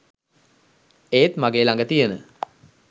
ඒත් මගේ ලග තියෙන